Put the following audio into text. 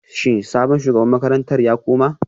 Shin sabon shugaban makarantar ya koma